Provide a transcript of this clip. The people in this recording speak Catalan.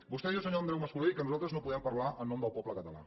vostè diu senyor andreu mas colell que nosaltres no podem parlar en nom del poble català